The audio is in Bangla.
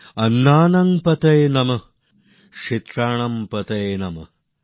অন্নানং পতয়ে নমঃ ক্ষেত্রানাম পতয়ে নমঃ